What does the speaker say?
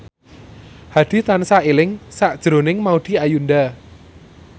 Hadi tansah eling sakjroning Maudy Ayunda